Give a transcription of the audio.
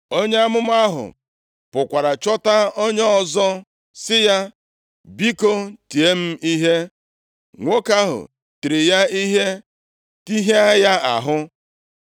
Onye amụma ahụ pụkwara chọta onye ọzọ sị ya, “Biko, tie m ihe.” Nwoke ahụ tiri ya ihe tihịa ya ahụ.